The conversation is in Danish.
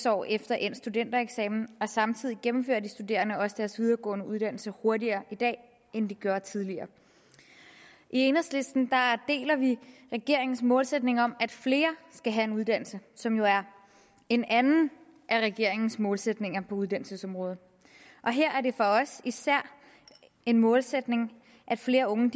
år efter endt studentereksamen og samtidig gennemfører de studerende også deres videregående uddannelse hurtigere i dag end de gjorde tidligere i enhedslisten deler vi regeringens målsætning om at flere skal have en uddannelse som jo er en anden af regeringens målsætninger på uddannelsesområdet og her er det for os især en målsætning at flere unge